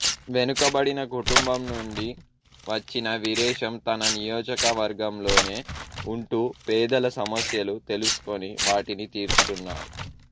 వెనుకబడిన కుటుంబం నుండి వచ్చిన వీరేశం తన నియోజకవర్గంలోనే ఉంటూ పేదల సమస్యలు తెలుసుకొని వాటిని తీరుస్తున్నారు